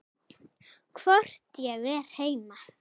Hvort ég er heima?